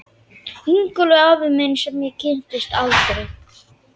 Ingólfur afi minn sem ég kynntist aldrei.